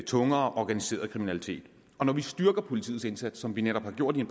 tungere organiseret kriminalitet og når vi styrker politiets indsats som vi netop har gjort med